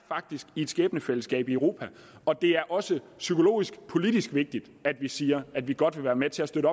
i et skæbnefællesskab i europa og det er også psykologisk og politisk vigtigt at vi siger at vi godt vil være med til at støtte